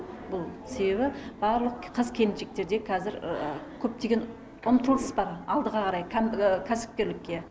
бұл себебі барлық қыз келіншектер де қазір көптеген ұмтылыс бар кәдімгі кәсіпкерлікке